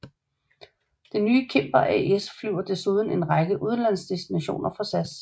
Det nye Cimber AS flyver desuden en række udenlandsdestinationer for SAS